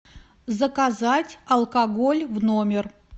заказать алкоголь в номер